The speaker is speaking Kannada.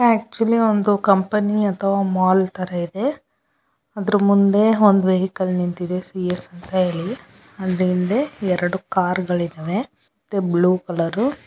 ಅಕ್ಟುಲಿ ಒಂದು ಅಥವಾ ಮಾಲ್ ತರ ಇದೆ ಅದರ ಮುಂದೆ ಎರಡು ವೆಹಿಕಲ್ ಗಳು ನಿಂತಿವೆ ಹಿಂದೆ ಎರಡು ಕಾರ್ ಗಲ್ಲು ನಿಂತಿವೆ. Blue colour --